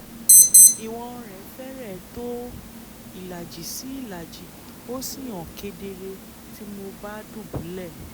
ìwọ̀n rẹ̀ fẹ́rẹ̀ẹ́ tó ìlàjì sí ìlàjì ó sì hàn kedere bí mo bá dùbúlẹ̀